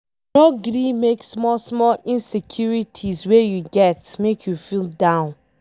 No gree make small small insecurities wey you get make you feel down